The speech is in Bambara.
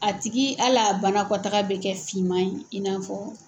A tigi ala banakɔtaaga bɛ kɛ finma ye in n'a fɔ.